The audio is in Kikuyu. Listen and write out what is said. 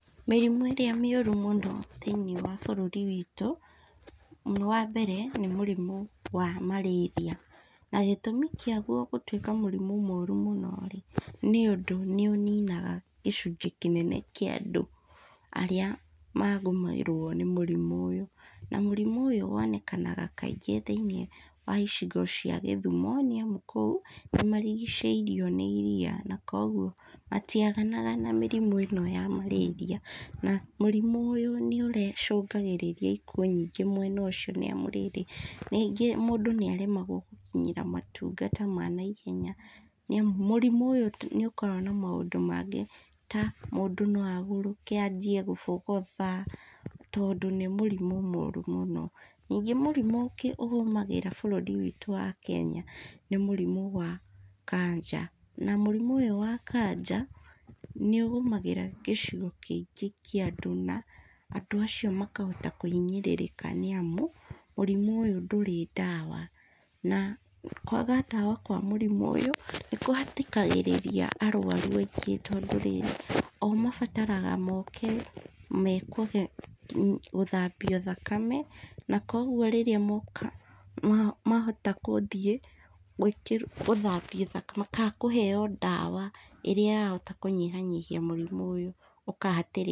Mĩrimũ ĩrĩa mĩũru thĩ-inĩ wa bũrũri witũ, nĩ wambere nĩ mũrimũ wa malaria na gĩtũmi kĩagua gũtwĩka mũrimũ mũno rĩ, nĩũndũ nĩũninaga, gĩcunjĩ kĩnene kĩa andũ, arĩa magũmĩrwo nĩ mũrimũ ũyũ, na mũrimũ ũyũ wonekanaga kaingĩ thĩ-inĩ wa icigo cia gĩthumo, nĩamu kũu, nĩmarigicĩirio nĩ iria na koguoa, matiaganaga na mĩrimũ ĩno ya malaria na mũrimũ ũyũ nĩũre cũngagĩrĩria ikuũ nyingĩ mwena ũcio nĩũndũ rĩrĩ, rĩngĩ mũndũ nĩaremwo gũkinyĩra motungata ma naihenya, nĩamu mũrimũ ũyũ ti nĩúkoragwo na maũndũ mangĩ ta, mũndũ noagũrũke, anjie gũbogotha, tondũ nĩ mũrimũ mũru mũno, ningĩ mũrimũ ũngĩ ũgũmagira bũrũri witũ wa kenya nĩ mũrimũ wa kanja, na mũrimũ ũyũ wa kanja gĩcigo kĩingĩ kĩa andũ na andũ acio makahota kũhinyĩrĩrĩka nĩamu, mũrimũ ũyũ ndũrĩ ndawa, na kwaga ndawa kwa mũrimũ ũyũ, kũhatĩkagĩrĩria arwaru angĩ tondũ rĩrĩ, o mabataraga moke mekwo, gũthambio thakame, na koguo rĩrĩa moka mahota gũthiĩ gwĩkĩ gũthambio thakame matakũheo ndawa ĩrĩa yahota kũnyihanyihia mũrimũ ũyũ, ũkahatĩ.